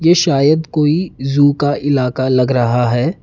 ये शायद कोई जू का इलाका लग रहा है।